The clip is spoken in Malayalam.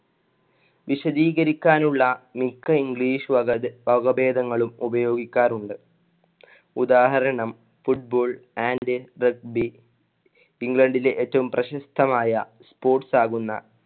വിശദീകരിക്കാനുള്ള മിക്ക english വക വകഭേദങ്ങളും ഉപയോഗിക്കാറുണ്ട്. ഉദാഹരണം football and Regbi ഇംഗ്ലണ്ടിലെ ഏറ്റവും പ്രശസ്തമായ sports ആകുന്ന